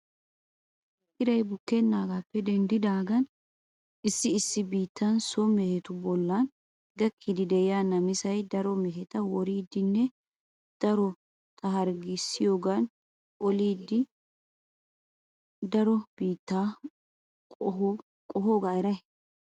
Iray bukkenaagappe denddidagan issi issi biittan so mehetu boollan gakkiidi de'iya namisay daro meheta woriiddinne darota harggiyan oliidi daro biitta qohoogaa eray?